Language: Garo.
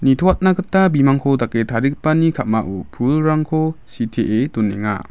nitoatna gita bimangko dake tarigipani ka·mao pulrangko sitee donenga.